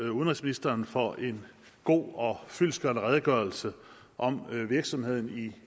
udenrigsministeren for en god og fyldestgørende redegørelse om virksomheden i